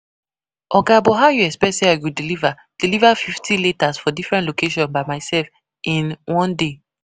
Oga, but how you expet say I go deliver deliver fifty letters for different locations by myself in one day?